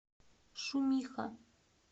шумиха